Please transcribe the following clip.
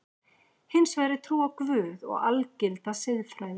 Hins vegar er trú á Guð og algilda siðfræði.